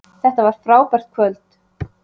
Þetta var frábært kvöld